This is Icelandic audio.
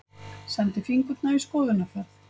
Sendi fingurna í skoðunarferð.